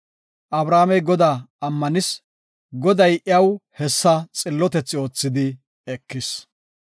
Abramey Godaa ammanis; Goday iyaw hessa xillotethi oothidi ekis.